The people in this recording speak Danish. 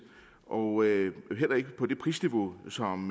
og heller ikke på det prisniveau som